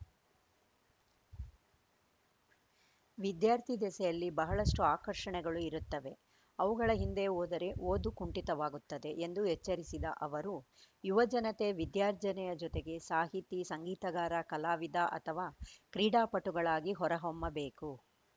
ವಿದ್ಯಾರ್ಥಿ ದೆಸೆಯಲ್ಲಿ ಬಹಳಷ್ಟುಆಕರ್ಷಣೆಗಳು ಇರುತ್ತವೆ ಅವುಗಳ ಹಿಂದೆ ಹೋದರೆ ಓದು ಕುಂಠಿತವಾಗುತ್ತದೆ ಎಂದು ಎಚ್ಚರಿಸಿದ ಅವರು ಯುವಜನತೆ ವಿದ್ಯಾರ್ಜನೆಯ ಜೊತೆಗೆ ಸಾಹಿತಿ ಸಂಗೀತಗಾರ ಕಲಾವಿದ ಅಥವಾ ಕ್ರೀಡಾಪಟುಗಳಾಗಿ ಹೊರ ಹೊಮ್ಮಬೇಕು